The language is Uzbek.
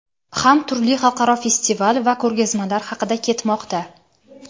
ham turli xalqaro festival va ko‘rgazmalar haqida ketmoqda.